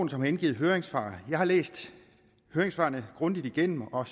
som har indgivet høringssvar jeg har læst høringssvarene grundigt igennem og